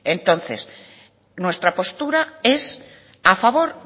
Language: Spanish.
entonces nuestra postura es a favor